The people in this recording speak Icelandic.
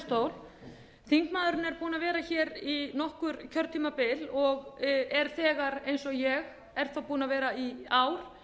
þingmaðurinn er búinn að vera hér í nokkur kjörtímabil og er þegar eins og ég er þó búinn að vera í ár